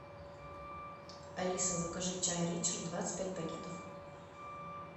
алиса закажи чай ричард двадцать пять пакетов